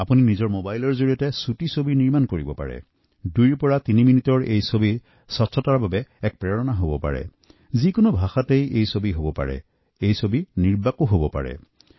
আপোনালোকে নিজৰ মোবাইলত স্বচ্ছতা সংক্ৰান্ত দুইতিন মিনিটৰ ছবি বনাই পঠাব পাৰে যি কোনো ভাষাত হতে পাৰে একেদৰে নিৰ্বাক ছবিও হব পাৰে